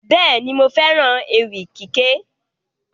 Bẹ́ẹ̀ni, mo fẹ́ràn ewì kíké